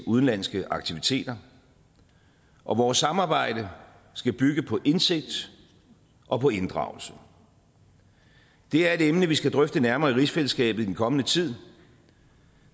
udenlandske aktiviteter og vores samarbejde skal bygge på indsigt og på inddragelse det er et emne vi skal drøfte nærmere i rigsfællesskabet i den kommende tid